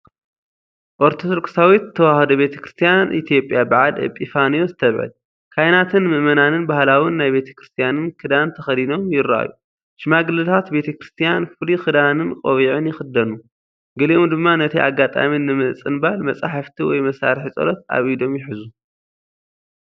ኦርቶዶክሳዊት ተዋህዶ ቤተ ክርስቲያን ኢትዮጵያ ብዓል ኤጲፋንዮስ ተብዕል። ካህናትን ምእመናንን ባህላውን ናይ ቤተክርስትያንን ክዳን ተኸዲኖም ይረኣዩ። ሽማግለታት ቤተ ክርስቲያን ፍሉይ ክዳንን ቆቢዕን ይኽደኑ፣ ገሊኦም ድማ ነቲ ኣጋጣሚ ንምጽንባል መጽሓፍቲ ወይ መሳርሒ ጸሎት ኣብ ኢዶም ይሕዙ።